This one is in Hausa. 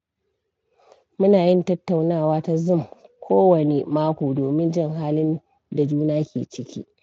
Muna yin tattaunawa ta Zoom kowanne mako domin jin halin da juna ke ciki.